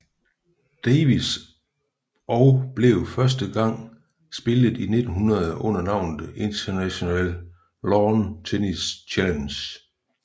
Davis og blev første gang spillet i 1900 under navnet International Lawn Tennis Challenge